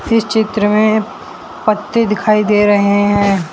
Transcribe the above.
इस चित्र में पत्ते दिखाई दे रहे हैं।